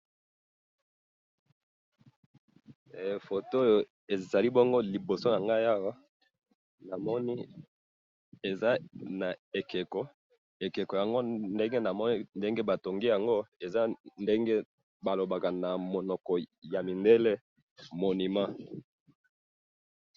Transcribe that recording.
Photo oyo ezali liboso na ngai, na moni ekeko, na ndenge ba tongi yango balobaka na mindele monument,